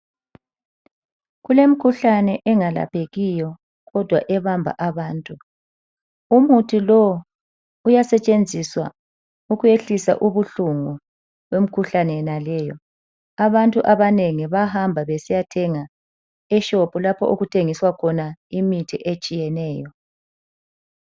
Kulemikhuhlane engalaphekiyo kodwa ebamba abantu. Umuthi lowu uyasetshenziswa ukwehlisa ubuhlungu bemikhuhlane yonaleyo. Abantu abanengi bayahamba besiyathenga eShop lapho okuthengiswa khona imithi etshiyeneyo.